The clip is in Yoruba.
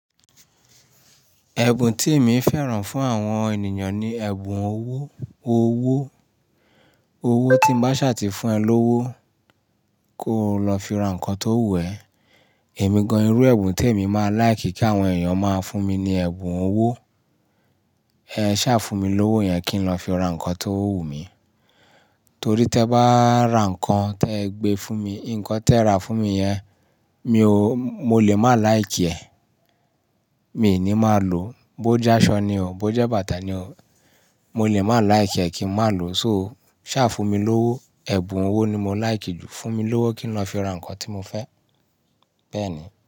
Ẹ̀bùn tí èmi fẹ́ràn fún àwọn ènìyàn ni ẹ̀bùn owó, owó. Owó tí ń bá ṣáà ti fún ẹ lówó, kó o lọ fi ra nǹkan tó wù ẹ̀. Ẹ̀mí gan-an irú ẹ̀bùn témi máa like kí àwọn èèyàn máa fún mi ni ẹ̀bùn owó. Ẹ ṣáà fún mi lówó yẹn kí n lọ fi ra nǹkan tó wù mí. Torí tẹ́ẹ bá ra nǹkan tẹ́ẹ gbé fún mi, ǹkan tẹ́ẹ rà fún mi yẹn, mi ò, mo lè má like ẹ̀, mi ò ní má lòó. Bó jẹ́ aṣọ ni o, bó jẹ́ bàtà ni o, mo lè má like ẹ́ kí n má lòó. So, ṣà fún mi lówó, ẹ̀bùn owó ni mo like jù. Fún mi lówó kí n lọ fi ra nǹkan tí mo fẹ́. Bẹ́ẹ̀ ni.